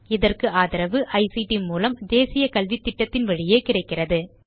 இதற்கு ஆதரவு ஐசிடி மூலம் தேசிய கல்வித்திட்டத்தின் வழியே கிடைக்கிறது